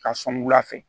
Ka sɔn wula fɛ